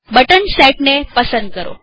button set ને પસંદ કરો